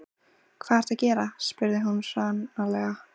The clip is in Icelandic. Hvað ertu að gera? spurði hún hranalega.